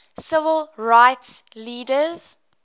civil rights leaders